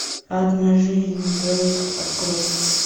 одна жизнь на двоих открой